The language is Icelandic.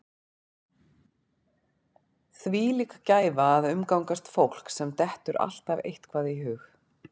Þvílík gæfa að umgangast fólk sem dettur alltaf eitthvað í hug.